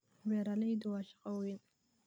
Beeraleydu waa shaqo weyn.